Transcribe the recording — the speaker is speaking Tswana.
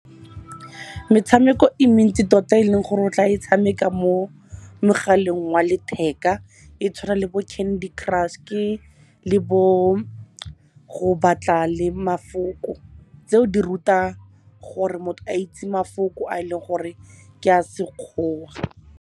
Metshameko e mentsi tota eleng gore o tla e tshameka mo mogaleng wa letheka, e tshwana le bo Candy Crush le bo go batla le mafoko. Tseo di ruta gore motho a itse mafoko a eleng gore ke a sekgowa.